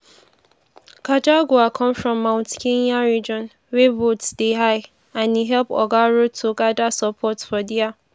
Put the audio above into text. gachagua come from mount kenya region wia votes dey high and e help oga ruto gada support for dia.